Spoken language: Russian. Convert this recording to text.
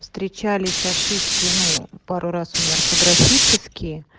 встречались ошибки ну пару раз у меня орфографические